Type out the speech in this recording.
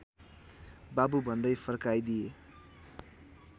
बाबु भन्दै फर्काइदिए